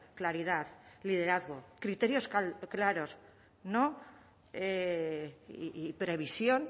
claridad liderazgo criterios claros y previsión